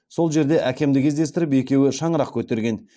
сол жерде әкемді кездестіріп екеуі шаңырақ көтерген